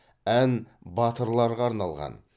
ән батырларға арналған